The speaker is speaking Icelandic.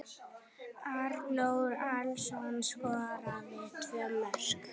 Arnór Atlason skoraði tvö mörk.